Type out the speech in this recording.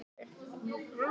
Frægasti njósnarinn í banka